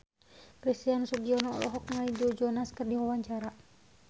Christian Sugiono olohok ningali Joe Jonas keur diwawancara